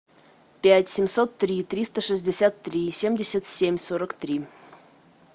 пять семьсот три триста шестьдесят три семьдесят семь сорок три